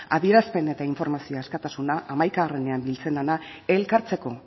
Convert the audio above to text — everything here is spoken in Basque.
adierazpen eta informazio askatasuna hamaikaean biltzen dena elkartzeko